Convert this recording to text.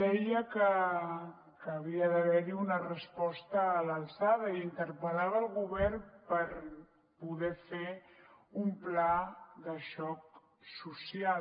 deia que havia d’haver hi una resposta a l’alçada i interpel·lava el govern per poder fer un pla de xoc social